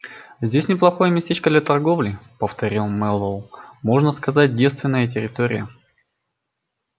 здесь неплохое местечко для торговли повторил мэллоу можно сказать девственная территория